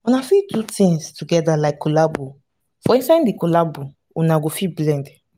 una fit do things together like collabo for inside di collabo una go fit blend